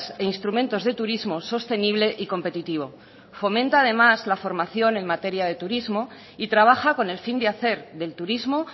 e instrumentos de turismo sostenible y competitivo fomenta además la formación en materia de turismo y trabaja con el fin de hacer del turismo